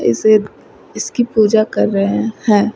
इसे इसकी पूजा कर रहे हैं।